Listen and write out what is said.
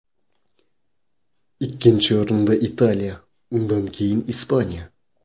Ikkinchi o‘rinda Italiya, undan keyin Ispaniya.